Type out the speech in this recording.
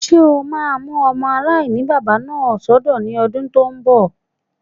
Ṣé o máa mú ọmọ aláìní-baba náà sọ́dọ̀ ní ọdún tó n bọ̀?